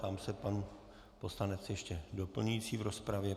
Ptám se, pan poslanec ještě doplňující v rozpravě.